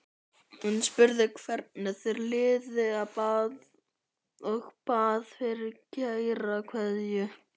Hann spurði hvernig þér liði og bað fyrir kæra kveðju.